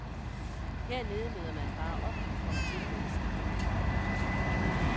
Hernede møder man bare op og kommer til med det samme. punktum